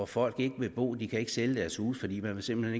folk ikke vil bo de kan ikke sælge deres huse fordi man simpelt